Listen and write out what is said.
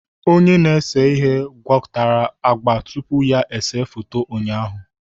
Onye na-ese ihe gwakọtara agba tupu ya ese foto ụnyaahụ